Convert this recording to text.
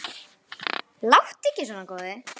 Láttu ekki svona góði.